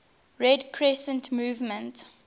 red crescent movement